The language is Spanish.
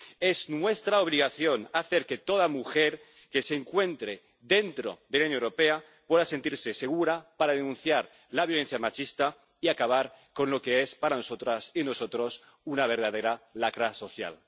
Es nuestra obligación hacer que toda mujer que se encuentre dentro de la Unión Europea pueda sentirse segura para denunciar la violencia machista y acabar con lo que, para nosotras y nosotros, es una verdadera lacra social.